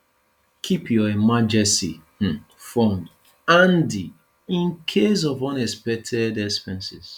keep your emergency um fund handy in case of unexpected expenses